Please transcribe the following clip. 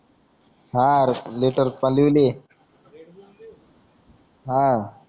हा रेडबुल लिह